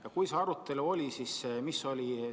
Ja kui see arutelu oli, siis milline oli seisukoht?